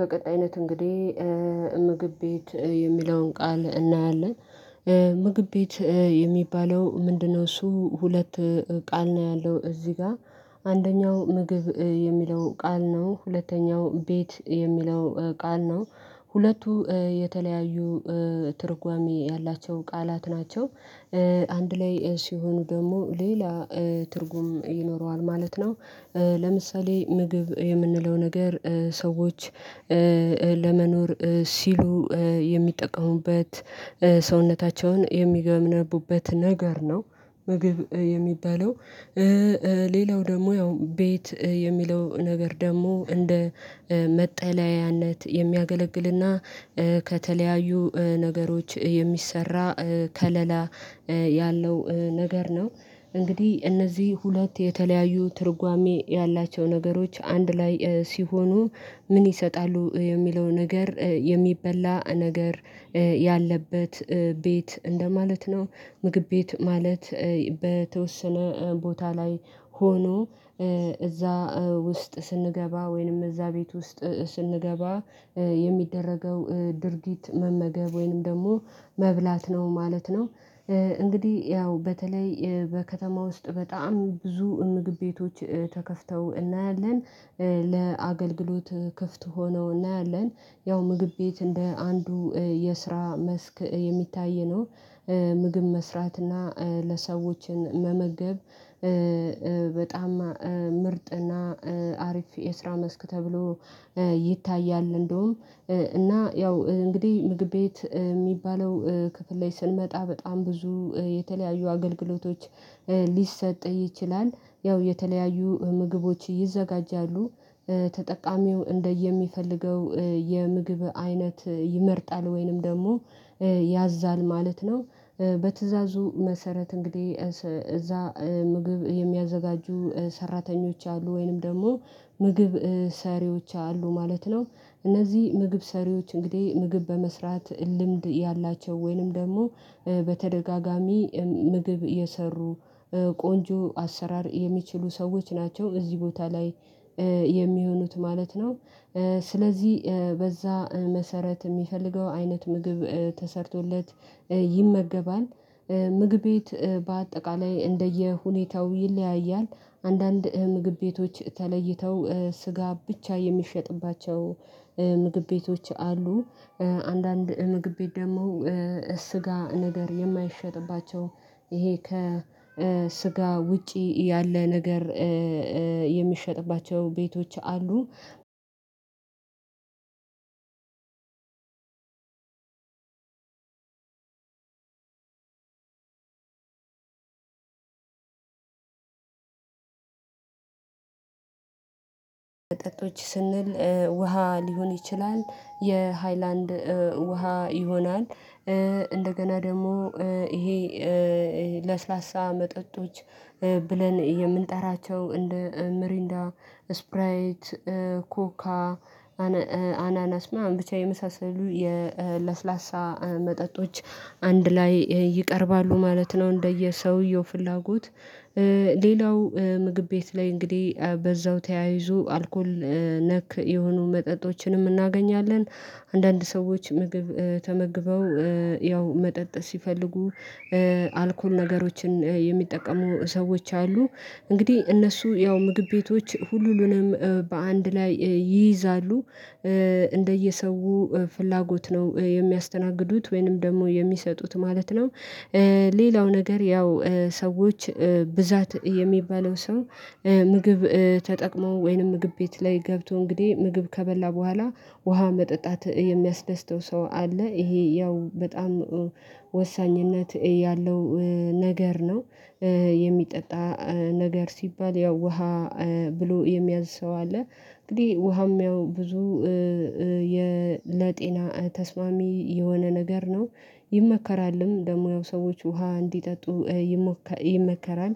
በቀጣይነት እንግዲህ ምግብ ቤት የሚለውን ቃል እናያለን። ምግብ ቤት የሚባለው ምንድነው? እሱ ሁለት ቃል ነው ያለው እዚህ ጋር። አንደኛው ምግብ የሚለው ቃል ነው ሁለተኛው ቤት የሚለው ቃል ነው ሁለቱ የተለያዩ ትርጓሜ ያላቸው ቃላት ናቸው። አንድ ላይ ሲሆኑ ደግሞ ሌላ ትርጉም ይኖረዋል ማለት ነው። ለምሳሌ ምግብ የምንለው ነገር ሰዎች ለመኖር ሲሉ የሚጠቀሙበት ሰውነታቸውን የሚገነቡበት ነገር ነው። ምግብ የሚባለው ሌላው ደግሞ ያው ቤት የሚለው ነገር ደግሞ እንደ መጠለያነት የሚያገለግል እና ከተለያዩ ነገሮች የሚሰራ ከለላ ያለው ነገር ነው። እንግዲህ እነዚህ ሁለት የተለያዩ ትርጓሜ ያላቸው ነገሮች አንድ ላይ ሲሆኑ ምን ይሰጣሉ የሚለው ነገር የሚበላ ነገር ያለበት ቤት እንደማለት ነው። ምግብ ቤት ማለት በተወሰነ ቦታ ላይ ሆኖ እዛ ውስጥ ስንገባ ወይንም እዛ ቤት ውስጥ ስንገባ የሚደረገው ድርጊት መመገብ ወይንም ደግሞ መብላት ነው ማለት ነው። እንግዲህ ያው በተለይ በከተማ ውስጥ በጣም ብዙ ምግብ ቤቶች ተከፍተው እናያለን ለአገልግሎት ክፍት ሆነው እናያለን ያው ምግብ ቤት እንደ አንዱ የስራ መስክ የሚታይ ነው። ምግብ መስራት እና ለሰዎችን መመገብ በጣም ምርጥ እና አሪፍ የስራ መስክ ተብሎ ይታያል። እንደውም እና ያው እንግዲህ ምግብ ቤት የሚባለው ክፍል ላይ ስንመጣ በጣም ብዙ የተለያዩ አገልግሎቶች ሊሰጥ ይችላል። ያው የተለያዩ ምግቦች ይዘጋጃሉ ተጠቃሚው እንደየሚፈልገው የምግብ አይነት ይመርጣል ወይንም ደግሞ ያዛል ማለት ነው። በትእዛዙ መሰረት እንግዲህ እዛ ምግብ የሚያዘጋጁ ሰራተኞች አሉ ወይንም ደግሞ ምግብ ሰሪዎች አሉ ማለት ነው። እነዚህ ምግብ ሰሪዎች እንግዲህ ምግብ በመስራት ልምድ ያላቸው ወይንም ደግሞ በተደጋጋሚ ምግብ የሰሩ ቆንጆ አሰራር የሚችሉ ሰዎች ናቸው እዚህ ቦታ ላይ የሚሆኑት ማለት ነው። ስለዚህ በዛ መሰረት የሚፈልገው አይነት ምግብ ተሰርቶለት ይመገባል። ምግብ ቤት በአጠቃላይ እንደየሁኔታው ይለያያል አንዳንድ ምግብ ቤቶች ተለይተው ስጋ ብቻ የሚሸጥባቸው ምግብ ቤቶች አሉ። አንዳንድ ምግብ ቤት ደግሞ ስጋ ነገር የማይሸጥባቸው ይሄ ከስጋ ውጪ ያለ ነገር የሚሸጥባቸው ቤቶች አሉ። መጠጦች ስንል ውሃ ሊሆን ይችላል የሃይላንድ ውሃ ይሆናል እንደገና ደግሞ ይሄ ለስላሳ መጠጦች ብለን የምንጠራቸው እንደ ምሪንዳ ስፕራይት ኮካ አናናስ ምናምን ብቻ የመሳሰሉ የለስላሳ መጠጦች አንድ ላይ ይቀርባሉ ማለት ነው። እንደየሰውየው ፍላጎት ሌላው ምግብ ቤት ላይ እንግዲህ በዛው ተያይዞ አልኮል ነክ የሆኑ መጠጦችንም እናገኛለን። አንዳንድ ሰዎች ምግብ ተመግበው ያው መጠጥ ሲፈልጉ አልኮል ነገሮችን የሚጠቀሙ ሰዎች አሉ። እንግዲህ እነሱ ያው ምግብ ቤቶች ሁሉንም በአንድ ላይ ይይዛሉ እንደየሰው ፍላጎት ነው የሚያስተናግዱት ወይንም ደግሞ የሚሰጡት ማለት ነው። ሌላው ነገር ያው ሰዎች ብዛት የሚባለው ሰው ምግብ ተጠቅሞ ወይንም ምግብ ቤት ላይ ገብቶ እንግዲህ ምግብ ከበላ በኋላ ውሃ መጠጣት የሚያስደስተው ሰው አለ ይሄ ያው በጣም ወሳኝነት ያለው ነገር ነው። የሚጠጣ ነገር ሲባል ያው ውሃ ብሎ የሚያዝ ሰው አለ። እንግዲህ ውሃም ያው ብዙ ለጤና ተስማሚ የሆነ ነገር ነው ይመከራልም ደግሞ ያው ሰዎች ውሃ እንዲጠጡ ይመከራል።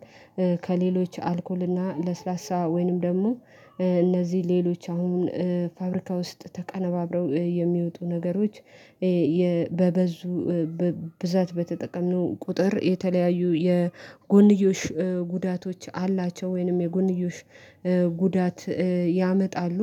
ከሌሎች አልኮል እና ለስላሳ ወይንም ደግሞ እነዚህ ሌሎች አሁን ፋብሪካ ውስጥ ተቀናብረው የሚወጡ ነገሮች በበዙ ብዛት በተጠቀምነው ቁጥር የተለያዩ የጎንዮሽ ጉዳቶች አላቸው ወይንም የጎንዮሽ ጉዳት ያመጣሉ